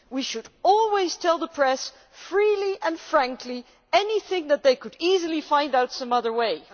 We should always tell the press freely and frankly anything that they could easily find out some other way'.